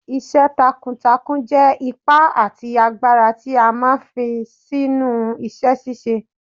Iṣẹ́ takuntakun jẹ́ ipá àti agbára tí a máa ń fi sínú iṣẹ́ ṣíṣe.